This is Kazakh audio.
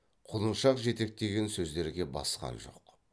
құлыншақ жетектеген сөздерге басқан жоқ